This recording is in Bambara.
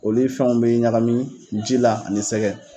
Olu fɛnw bɛ ɲagami ji la ani sɛgɛ.